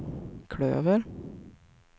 klöver